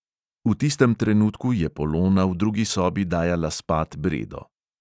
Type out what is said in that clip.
V tistem trenutku je polona v drugi sobi dajala spat bredo.